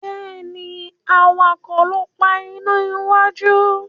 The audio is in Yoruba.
Béèni awakọ̀ ló ń pá iná wájú.